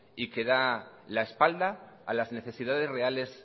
y que da la espalda a las necesidades reales